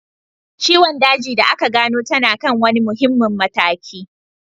Ciwon daji da aka gano tana kan wani muhimmin mataki